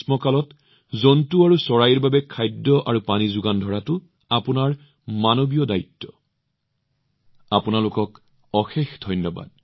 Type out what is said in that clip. এই গ্ৰীষ্মকালত আপোনালোকে জন্তু আৰু চৰাইৰ বাবে খাদ্য আৰু পানী যোগান ধৰি মানৱীয় দায়বদ্ধতা পূৰণ কৰি থাকিব এয়া মনত ৰাখিব আপোনালোকক অশেষ ধন্যবাদ